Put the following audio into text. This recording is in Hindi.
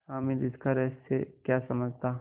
हामिद इसका रहस्य क्या समझता